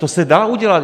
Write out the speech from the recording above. To se dá udělat.